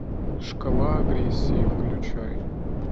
шкала агрессии включай